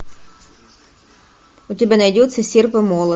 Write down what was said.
у тебя найдется серп и молот